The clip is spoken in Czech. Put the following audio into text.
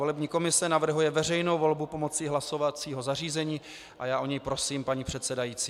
Volební komise navrhuje veřejnou volbu pomocí hlasovacího zařízení a já o ni prosím paní předsedající.